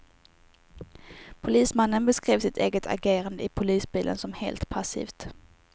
Polismannen beskrev sitt eget agerande i polisbilen som helt passivt.